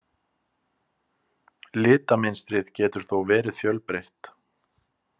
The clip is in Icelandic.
Litamynstrið getur þó verið fjölbreytt.